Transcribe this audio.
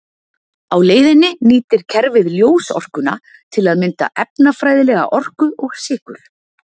Á leiðinni nýtir kerfið ljósorkuna til að mynda efnafræðilega orku og sykur.